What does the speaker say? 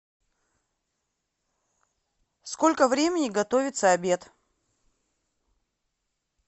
сколько времени готовится обед